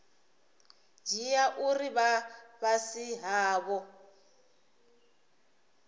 dzhia uri vha fhasi havho